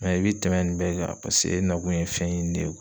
i bɛ tɛmɛn nin bɛɛ kan paseke e na kun ye fɛn ye ɲini de ye.